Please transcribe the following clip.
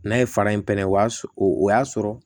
N'a ye fara in pɛrɛn o y'a sɔrɔ o y'a sɔrɔ